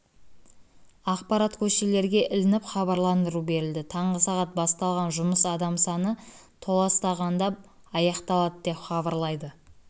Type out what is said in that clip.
ақпарат көшелерге ілініп хабарландыру берілді таңғы сағат басталған жұмыс адам саны толастағанда аяқталады деп хабарлайды